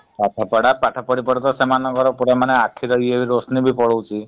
ପାଠପଢା ପାଠ ପଢି ପଢି ତ ସେମାନେ ବର ପୁରା ମାନେ ଆଖିର ଇଏ ରୋଶନୀ ବି ପଳଉଛି ।